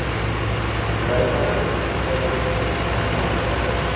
bedrywe film handwerk